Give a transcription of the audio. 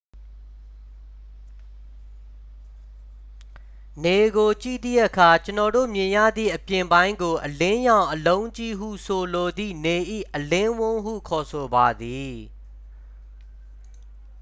"နေကိုကြည့်သည့်အခါ ကျွန်ုပ်တို့မြင်ရသည့် အပြင်ပိုင်းကို "အလင်းရောင် အလုံးကြီး" ဟုဆိုလိုသည့် နေ၏အလင်းဝန်းဟု ခေါ်ဆိုပါသည်။